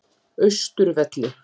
Austurvelli